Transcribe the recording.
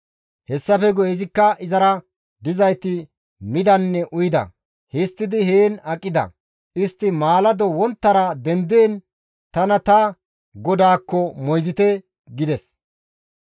Hessafe guye izikka izara dizayti midanne uyida; histtidi heen aqida; istti maalado wonttara dendiin, «Tana ta godaakko moyzite» gides.